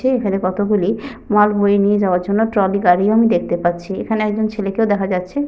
আছে। এখানে কতগুলি মাল বয়ে নিয়ে যাওয়ার জন্য ট্রলি গাড়িও আমি দেখতে পাচ্ছি। এখানে একজন ছেলেকেও দেখা যচ্ছে।